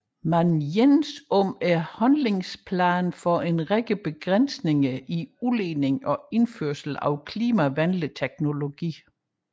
Man enedes om handlingsplaner for en række begrænsninger i udledningen og indførelse af klimavenlig teknologi